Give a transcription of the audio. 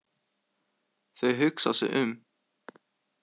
Þau hugsa sig um.